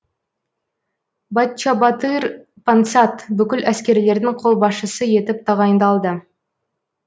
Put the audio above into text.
баччабатыр пансат бүкіл әскерлердің қолбасшысы етіп тағайындалды